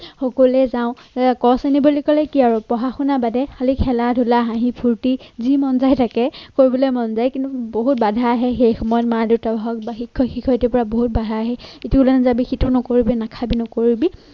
সকলোৱে যাওঁ আহ ক শ্ৰেণী বুলি কি আৰু পঢ়া শুনা বাদে খালী খেলা ধূলা, হাঁহি ফুৰ্তি, যি মন যায় তাকে কৰিবলৈ মন যায় । কিন্তু বহুত বাধা আহে সেই সময়ত। মা-দেউতাই হওক বা শিক্ষক-শিক্ষয়িত্ৰীৰ পৰা বহুত বাধা আহে, সিটো ওলাই নাযাবি, সিটো নকৰিবি নাখাবি নকৰিবি।